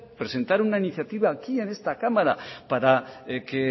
presentar una iniciativa aquí en esta cámara para que